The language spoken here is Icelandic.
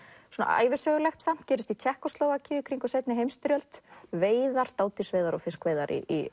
ævisögulegt samt gerist í Tékkóslóvakíu í kringum seinni heimsstyrjöld veiðar dádýrsveiðar og fiskveiðar í